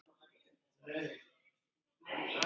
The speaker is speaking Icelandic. Amma ég er komin